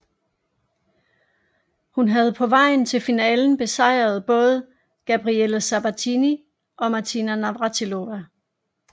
Hun havde på vejen til finalen besejret både Gabriela Sabatini og Martina Navratilova